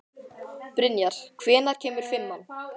Brynjar, hvenær kemur fimman?